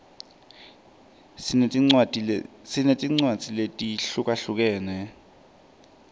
sinetincwadzi letehlukahlukene